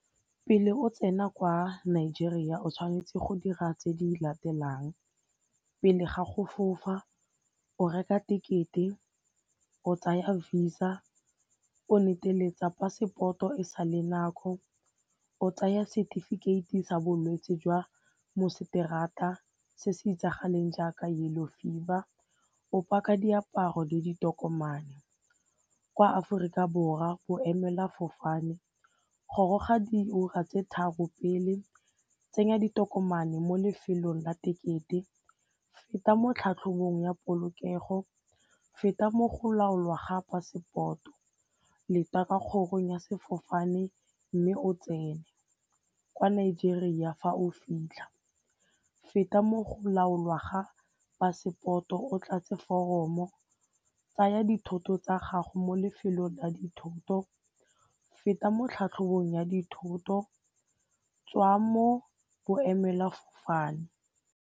Pele o tsena kwa Nigeria o tshwanetse go dira tse di latelang pele ga go fofa, o reka ticket-e, o tsaya visa, o neteletsa passport-o e sale nako, o tsaya setefikeiti sa bolwetse jwa moseterata se se itsagaleng jaaka yellow fever, o paka diaparo le ditokomane. Kwa Aforika Borwa boemelafofane goroga diura tse tharo pele, tsenya ditokomane mo lefelong la tekete, feta mo tlhatlhobong ya polokego, feta mo go laolwa passport-o, leta kwa kgorong ya sefofane mme o tsene. Kwa Nigeria fa o fitlha, feta mo go laolwa ga passport-o tlatse foromo, tsaya dithoto tsa gago mo lefelong la dithoto, feta mo tlhatlhobong ya dithoto, tswa mo boemelafofane.